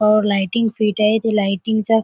अ lighting fit आहे ते lighting चा --